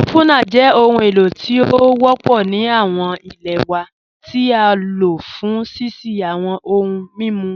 Opunar jẹ̀ ọhun èlò tí o wọ́pọ̀ ni awọn ilẹ̀ wa ti á ló fún ṣíṣí awọn ọ̀hùn mímú